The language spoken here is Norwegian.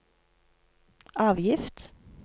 avgift